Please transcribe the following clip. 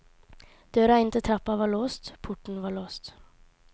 Døra inn til trappa var låst, porten var låst.